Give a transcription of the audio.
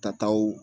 Tataw